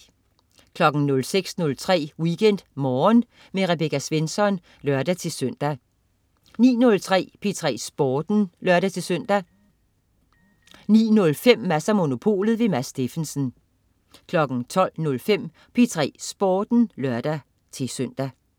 06.03 WeekendMorgen med Rebecca Svensson (lør-søn) 09.03 P3 Sporten (lør-søn) 09.05 Mads & Monopolet. Mads Steffensen 12.05 P3 Sporten (lør-søn)